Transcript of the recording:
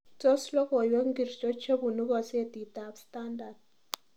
Tos logoywek ngircho chebunu kasetitab standart